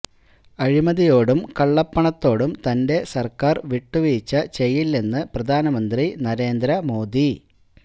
അഴിമതിയോടും കള്ളപ്പണത്തോടും തന്റെ സര്ക്കാര് വിട്ടുവീഴ്ച ചെയ്യില്ലെന്ന് പ്രധാനമന്ത്രി നരേന്ദ്ര മോദി